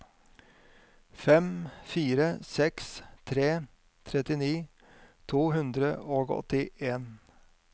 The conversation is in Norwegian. fem fire seks tre trettini to hundre og åttien